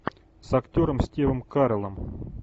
с актером стивом кареллом